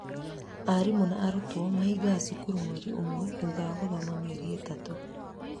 arimũ na arutwo mahingaga cukuru mwerĩ ũmwe thutha wa gũthoma mĩeri ĩtatu.